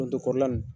Forontolan nin